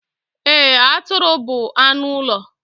Eee, Atụrụ bu anụ ụlọ